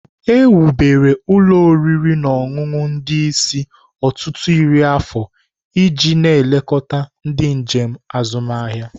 Ewubere ụlọ oriri na ọṅụṅụ ndị isi ọtụtụ iri afọ iji na-elekọta ndị njem azụmahịa.